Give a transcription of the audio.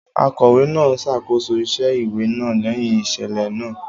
Akọ̀wé náà ṣàkóso iṣẹ́ ìwé náà lẹ́yìn ìṣẹ̀lẹ̀ náà.